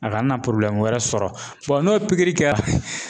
A kana na wɛrɛ sɔrɔ n'o ye pikiri kɛra